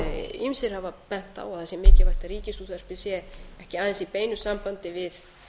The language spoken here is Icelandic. ýmsir hafa bent á að sé mikilvægt að ríkisútvarpið sé ekki aðeins í beinu sambandi við